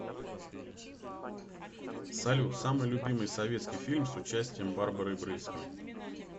салют самый любимый советский фильм с участием барбары брыльской